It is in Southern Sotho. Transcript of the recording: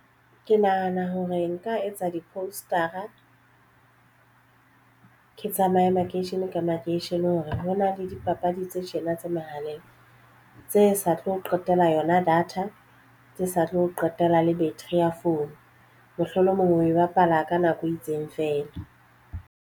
Ke nahana hore nka etsa di-poster-a ke tsamaye makeisheneng ka makeisheneng hore hona le dipapadi tse tjena tse mehaleng tse sa tlo qetella yona data tse sa tlo qetella le beteri ya phone mohlolomong o e bapala ka nako e itseng feela.